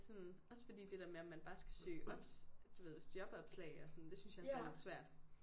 Sådan også fordi det der med om man bare skal søge op du ved hvis jobopslag og sådan det synes jeg også er lidt svært